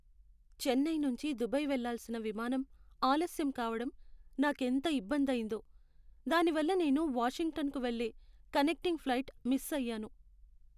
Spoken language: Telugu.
చెన్నై నుంచి దుబాయ్ వెళ్లాల్సిన విమానం ఆలస్యం కావడం నాకెంత ఇబ్బంది అయ్యిందో, దానివల్ల నేను వాషింగ్టన్కు వెళ్ళే కనెక్టింగ్ ఫ్లైట్ మిస్ అయ్యాను.